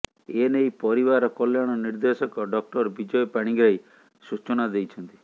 ଏନେଇ ପରିବାର କଲ୍ୟାଣ ନିର୍ଦ୍ଦେଶକ ଡ଼ଃ ବିଜୟ ପାଣିଗ୍ରାହୀ ସୂଚନା ଦେଇଛନ୍ତି